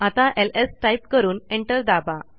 आता LS type करून enter दाबा